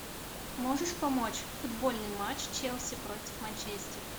можешь помочь футбольный матч челси против манчестер